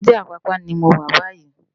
Ébùté Apapa ni mó wá bàyí